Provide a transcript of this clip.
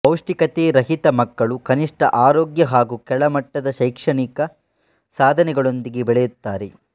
ಪೌಷ್ಟಿಕತೆರಹಿತ ಮಕ್ಕಳು ಕನಿಷ್ಟ ಆರೋಗ್ಯ ಹಾಗೂ ಕೆಳಮಟ್ಟದ ಶೈಕ್ಷಣಿಕ ಸಾಧನೆಗಳೊಂದಿಗೆ ಬೆಳೆಯುತ್ತಾರೆ